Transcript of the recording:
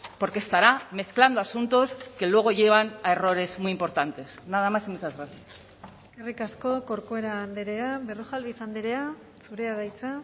porque estará mezclando asuntos que luego llevan a errores muy importantes nada más y muchas gracias eskerrik asko corcuera andrea berrojalbiz andrea zurea da hitza